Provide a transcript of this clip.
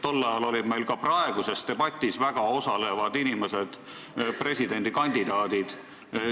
Tol ajal olid meil ka praeguses debatis osalevad inimesed presidendikandidaadid.